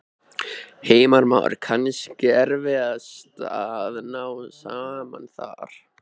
Heimir Már: Kannski erfiðast að ná saman þar?